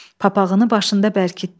Papağını başında bərkitdi.